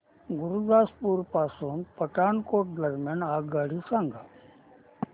गुरुदासपुर पासून पठाणकोट दरम्यान आगगाडी सांगा